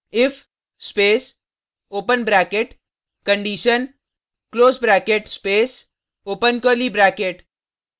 if space open bracket condition close bracket space open curly bracket